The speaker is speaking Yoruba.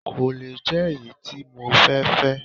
Kò le jẹ́ èyí tí mo fẹ́ fẹ́